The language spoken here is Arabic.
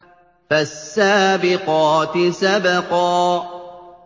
فَالسَّابِقَاتِ سَبْقًا